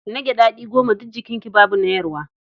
Nagge daɗi goma, duk jikinki babu na yarwa.